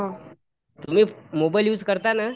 हा